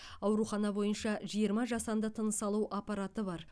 аурухана бойынша жиырма жасанды тыныс алу аппарат бар